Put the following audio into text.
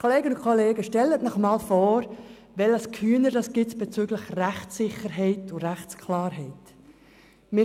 Kolleginnen und Kollegen, stellen Sie sich einmal vor, welches Durcheinander das bezüglich Rechtssicherheit und Rechtsklarheit gibt.